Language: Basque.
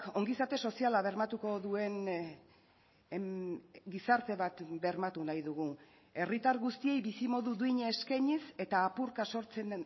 ongizate soziala bermatuko duen gizarte bat bermatu nahi dugu herritar guztiei bizimodu duina eskainiz eta apurka sortzen